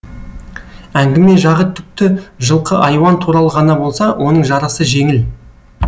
әңгіме жағы түкті жылқы айуан туралы ғана болса оның жарасы жеңіл